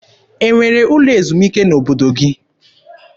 E nwere ụlọ ezumike n'obodo gị?